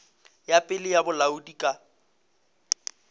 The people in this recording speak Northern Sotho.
ya pele ya bolaodi ka